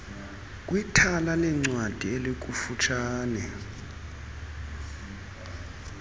kwithala leencwadi elikufutshane